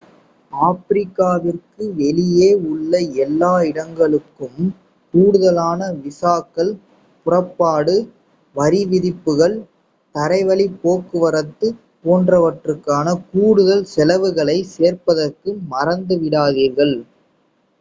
ஆப்பிரிக்காவிற்கு வெளியே உள்ள எல்லா இடங்களுக்கும் கூடுதலான விசாக்கள் புறப்பாட்டு வரிவிதிப்புகள் தரைவழிப் போக்குவரத்து போன்றவற்றுக்கான கூடுதல் செலவுகளைச் சேர்ப்பதற்கு மறந்துவிடாதீர்கள்